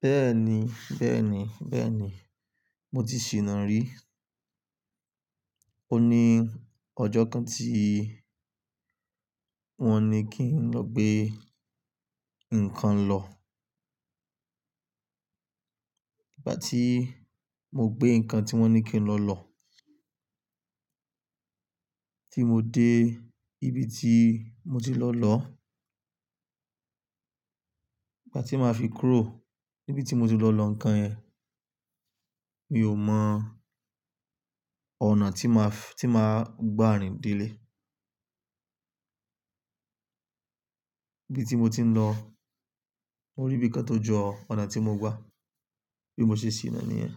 Bẹ́ẹ̀ni, bẹ́ẹ̀ni, bẹ́ẹ̀ni, mo ti ṣìná rí. O ní ọjọ́ kan tí wọ́n ní kí n lọ gbé nǹkan lọ. Ìgbà tí mo gbé ǹkan tí wọ́n ní kí n lọ lọ, tí mo dé ibi tí mo ti lọ lọ, ìgbà tí màá fi kúrò níbi tí mo ti lọ lọ nǹkan yẹn, mi ò mọ ọ̀nà tí màá f-- tí màá gbà rìn délé. Ibi tí mo ti ń lọ, mo rí ibi kán tó jọ ọ̀nà tí mo gbà, bí mo ṣe ṣìná níyẹn.